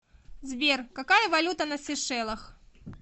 сбер какая валюта на сейшелах